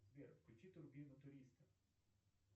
сбер включи турбину туриста